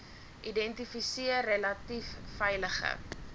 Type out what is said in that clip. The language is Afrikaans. identifiseer relatief veilige